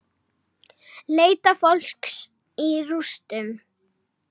Leita fólks í rústum